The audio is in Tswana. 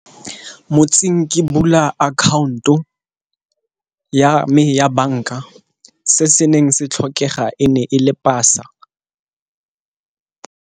Motsing ke bula account-o ya me ya banka se se neng se tlhokega e ne e le pasa.